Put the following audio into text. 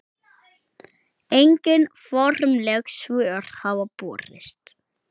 Engin formleg svör hafa borist.